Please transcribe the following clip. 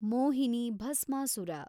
Mohini Bhasmasura